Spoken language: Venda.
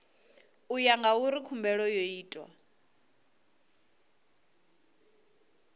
ya ngauri khumbelo yo itwa